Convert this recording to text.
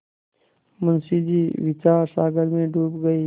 मुंशी जी विचारसागर में डूब गये